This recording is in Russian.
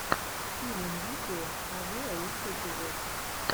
филинвидео авиа лучший эпизод